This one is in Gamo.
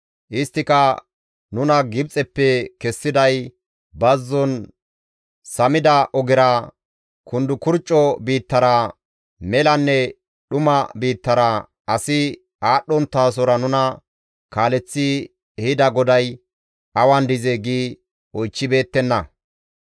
Isttika, ‹Nuna Gibxeppe kessiday, bazzon samida ogera, kundukurcco biittara, melanne dhuma biittara, asi aadhdhonttasora nuna kaaleththi ehida GODAY awan dizee?› gi oychchibeettenna.